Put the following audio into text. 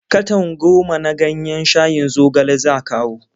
Katon goma na ganyen shayin zogale za kawo.